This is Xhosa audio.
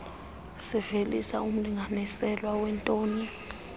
livelisa umlinganiselo weetoni